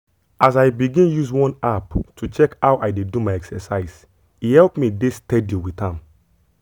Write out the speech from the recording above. as i begin use one app to check how i dey do my exercise e help me dey steady with am.